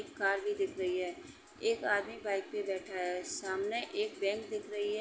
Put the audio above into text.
एक कार भी दिख रही है। एक आदमी बाइक पे बैठा है। सामने एक बैंक दिख रही है।